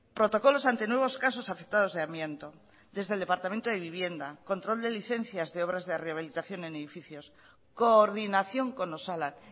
protocolos ante nuevos casos afectados de amianto desde el departamento de vivienda control de licencias de obras de rehabilitación en edificios coordinación con osalan